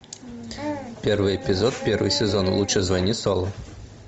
первый эпизод первый сезон лучше звони солу